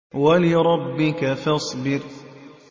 وَلِرَبِّكَ فَاصْبِرْ